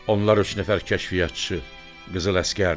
Onlar üç nəfər kəşfiyyatçı qızıl əsgərdir.